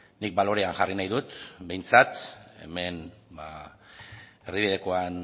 nik balorean jarri nahi dut behintzat hemen erdibidekoan